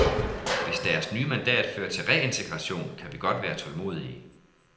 Hvis deres nye mandat fører til reintegration, kan vi godt være tålmodige.